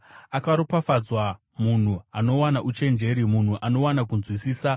Akaropafadzwa munhu anowana uchenjeri, munhu anowana kunzwisisa,